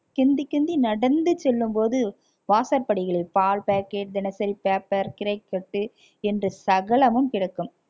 கெந்தி கெந்தி நடந்து செல்லும்போது வாசற்படியில் பால் packet தினசரி paper கீரைக்கட்டு என்று சகலமும் கிடக்கும்